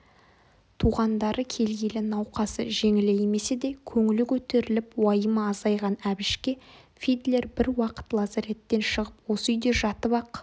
туғандары келгелі науқасы жеңілеймесе де көңілі көтеріліп уайымы азайған әбішке фидлер бір уақыт лазареттен шығып осы үйде жатып-ақ